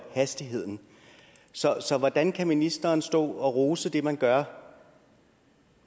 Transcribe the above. hastigheden så så hvordan kan ministeren stå og rose det man gør